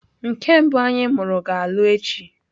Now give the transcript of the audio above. Nke mbụ anyị mụrụ ga-alụ echi.